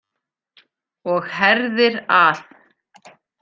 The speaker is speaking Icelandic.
Og herðir að.